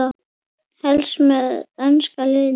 Helst með enska liðinu.